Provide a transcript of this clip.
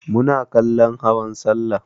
Muna kallon hawan sallah.